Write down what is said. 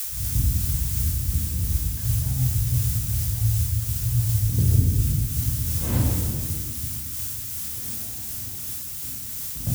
Kesham nkitok aatama mpukai